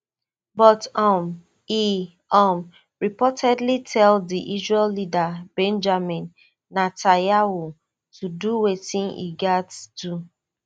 but um e um reportedly tell di israel leader benjamin netanyahu to do wetin e gatz do